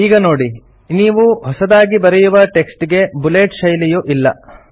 ಈಗ ನೋಡಿ ನೀವು ಹೊಸದಾಗಿ ಬರೆಯುವ ಟೆಕ್ಸ್ಟ್ ಗೆ ಬುಲೆಟ್ ಶೈಲಿಯು ಇಲ್ಲ